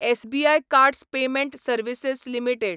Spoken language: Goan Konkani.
SBI cards payment services limited